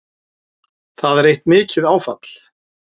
Það eitt er mikið áfall